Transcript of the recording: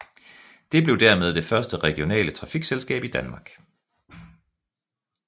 Det blev dermed det første regionale trafikselskab i Danmark